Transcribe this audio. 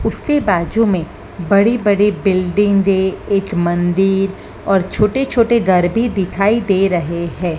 उसके बाजू में बड़ी बड़ी बिल्डिंगे एक मंदिर और छोटे छोटे घर भी दिखाई दे रहे है।